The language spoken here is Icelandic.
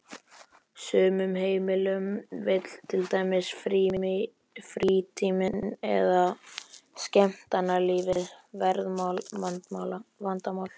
sumum heimilum vill til dæmis frítíminn eða skemmtanalífið verða vandamál.